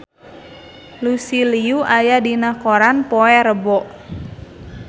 Lucy Liu aya dina koran poe Rebo